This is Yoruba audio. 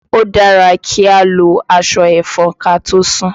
Ó dára kí a lo aṣọ ẹ̀fọn kàtósùn.